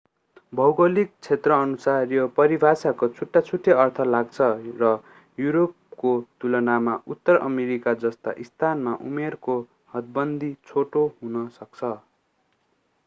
भौगोलिक क्षेत्रअनुसार यो परिभाषाको छुट्टाछुट्टै अर्थ लाग्छ र युरोपको तुलनामा उत्तर अमेरिका जस्ता स्थानमा उमेरको हदबन्दी छोटो हुन सक्छ